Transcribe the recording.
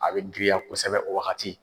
A be girinya kosɛbɛ o wagati